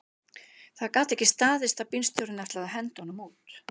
Það gat ekki staðist að bílstjórinn ætlaði að henda honum út